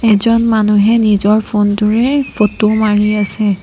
এজন মানুহে নিজৰ ফোন টোৰে ফটো মাৰি আছে।